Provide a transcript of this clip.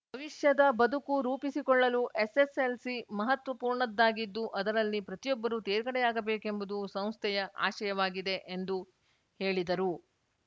ಭವಿಷ್ಯದ ಬದುಕು ರೂಪಿಸಿಕೊಳ್ಳಲು ಎಸ್‌ಎಸ್‌ಎಲ್‌ಸಿ ಮಹತ್ವಪೂರ್ಣದ್ದಾಗಿದ್ದು ಅದರಲ್ಲಿ ಪ್ರತಿಯೊಬ್ಬರೂ ತೇರ್ಗಡೆಯಾಗಬೇಕೆಂಬುದು ಸಂಸ್ಥೆಯ ಆಶಯವಾಗಿದೆ ಎಂದು ಹೇಳಿದರು